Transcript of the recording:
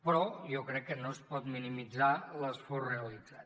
però jo crec que no es pot minimitzar l’esforç realitzat